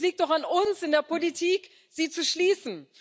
Es liegt auch an uns in der Politik, sie zu schließen.